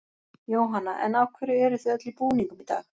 Jóhanna: En af hverju eruð þið öll í búningum í dag?